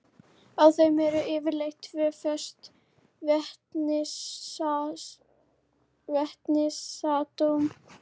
Á þeim eru yfirleitt tvö föst vetnisatóm.